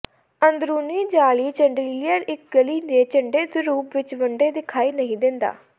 ਅੰਦਰੂਨੀ ਜਾਅਲੀ ਚੰਡਲ੍ਹੀਅਰ ਇੱਕ ਗਲੀ ਦੇ ਝੰਡੇ ਦੇ ਰੂਪ ਵਿੱਚ ਵੱਡੇ ਦਿਖਾਈ ਨਹੀਂ ਦਿੰਦਾ